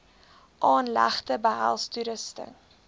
aanlegte behels toerusting